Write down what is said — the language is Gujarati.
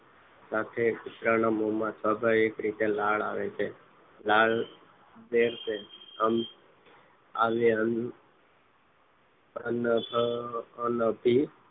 સાથે સ્વાભાવિક રીતે કુતરાના મોમાં લાળ આવે છે લાળ તે આવ્યા અન અન અભી